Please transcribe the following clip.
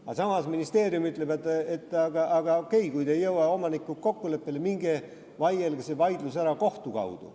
Aga samas, ministeerium ütleb, et okei, kui te ei jõua omanikuga kokkuleppele, siis minge vaielge see vaidlus ära kohtus.